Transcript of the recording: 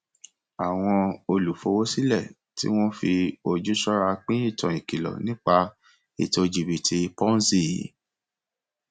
àwọn olùfowósílẹ tí wọn fi ojú ṣọra pín ìtàn ìkìlọ nípa ètò jìbítì ponzi